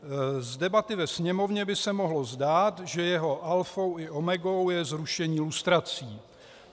Z debaty ve Sněmovně by se mohlo zdát, že jeho alfou a omegou je zrušení lustrací." -